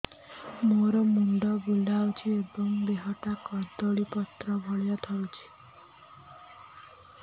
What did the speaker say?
ମୋର ମୁଣ୍ଡ ବୁଲାଉଛି ଏବଂ ଦେହଟା କଦଳୀପତ୍ର ଭଳିଆ ଥରୁଛି